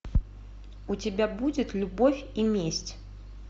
у тебя будет любовь и месть